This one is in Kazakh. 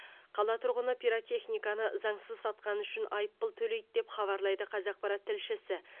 қала тұрғыны пиротехниканы заңсыз сатқаны үшін айыппұл төлейді деп хабарлайды қазақпарат тілшісі